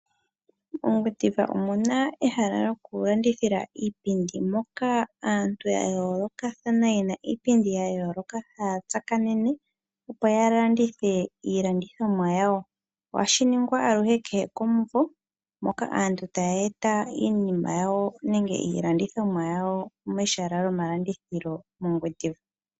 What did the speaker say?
MoGwendiva omuna ehala lyoku landithila iipindi moka aantu ya yoolokathana yena iipindi ya yooloka, haatsakanene opo yalandithe iilandithomwa yawo, ohashi ningwa aluhe kehe komumvo,, moka aantu ta yeeta iilandithomwa ya wo mehala lyomalandithilo moGwediva.